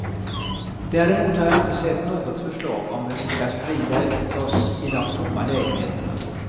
Däremot har jag inte sett något förslag om hur vi ska sprida ut oss i de tomma lägenheterna.